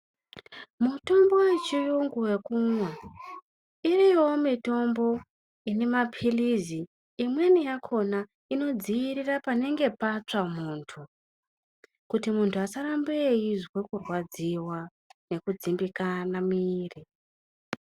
Mitombo yechiyungu yekumwa, iriyowo mitombo ine mapirizi, imweni yakona inodzivirira panenge patsva muntu kuti muntu asaramba eizwa kurwadziwa nekudzimbikana muviri.